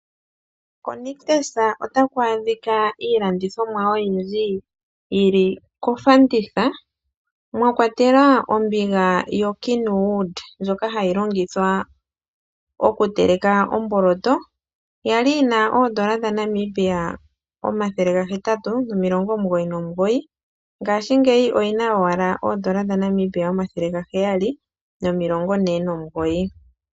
KoNictus otaku adhika iilandithomwa oyindji yili kofanditha mwakwatelwa ombiga yo kenwood ndjoka hayi longithwa okuteleka omboloto. Yali yina oodola dhaNamibia omathele gahetatu nomilongo omugoyi nomugoyi ngashingeyi oyina owala oodola dhaNamibia omathele gaheyali nomilongo ne nomugoyi.